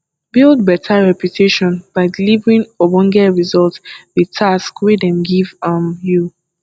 build better reputation by delivering ogbonge result with task wey dem give um you